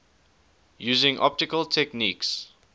using optical techniques